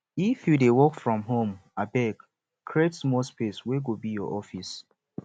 if you dey work from home abeg create small space wey go be your office